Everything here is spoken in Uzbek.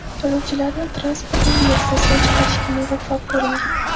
Yo‘lovchilarni transportning derazasidan chiqarishga muvaffaq bo‘lingan.